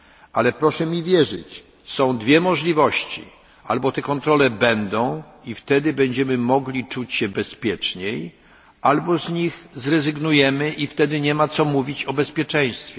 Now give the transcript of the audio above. Ale proszę mi wierzyć są dwie możliwości albo te kontrole będą i wtedy będziemy mogli czuć się bezpieczniej, albo z nich zrezygnujemy i wtedy nie ma co mówić o bezpieczeństwie.